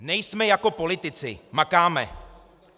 Nejsme jako politici, makáme.